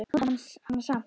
Nota hana samt.